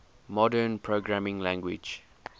modern programming languages